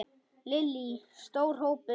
Lillý: Stór hópur?